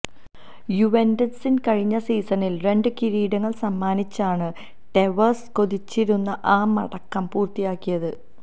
യുവെന്റസിന് കഴിഞ്ഞ സീസണില് രണ്ട് കിരീടങ്ങള് സമ്മാനിച്ചാണ് ടെവസ് കൊതിച്ചിരുന്ന ആ മടക്കം പൂര്ത്തിയാക്കിയത്